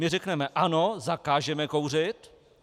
My řekneme: Ano, zakážeme kouřit.